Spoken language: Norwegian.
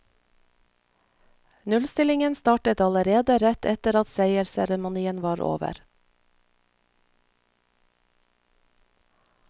Nullstillingen startet allerede rett etter at seiersseremonien var over.